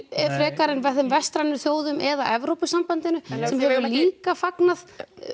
frekar en þeim vestrænu þjóðum eða Evrópusambandinu sem hefur líka fagnað